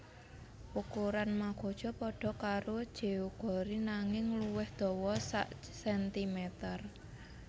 Ukuran magoja pada karo jeogori nanging luwih dawa sakcentimeter